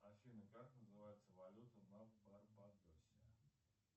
афина как называется валюта на барбадосе